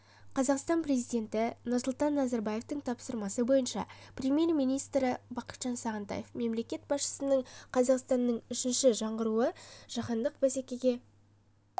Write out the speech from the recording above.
қазақстан президенті нұрсұлтан назарбаевтың тапсырмасы бойынша премьер-министрі бақытжан сағынтаев мемлекет басшысының қазақстанның үшінші жаңғыруы жаһандық бәсекеге